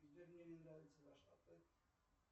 сбер мне не нравится ваш ответ